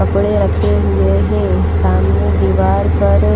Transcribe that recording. कपड़े रखे हुए हैं सामने दीवार पर--